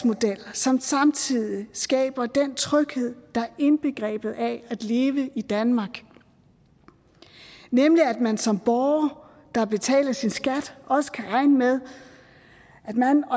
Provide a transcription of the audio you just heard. som samtidig skaber den tryghed der er indbegrebet af at leve i danmark nemlig at man som borger der betaler sin skat også kan regne med at man